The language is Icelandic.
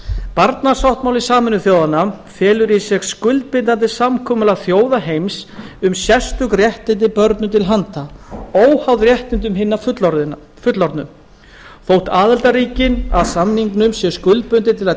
barnasáttmáli sameinuðu þjóðanna felur í sér skuldbindandi samkomulag þjóða heims um sérstök réttindi börnum til handa óháð réttindum hinna fullorðnu þótt aðildarríkin að samningnum séu skuldbundin til að